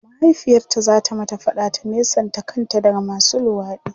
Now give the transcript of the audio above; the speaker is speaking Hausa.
mahaifiyarta zata mata faɗa ta nesanta kanta daga masu luwaɗi